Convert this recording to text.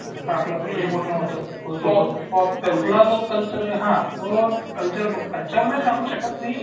जसं आपलं बोलणं होतं आपला जो कल्चर आहे तो कल्चर कल्चर नाही सांगू शकत मी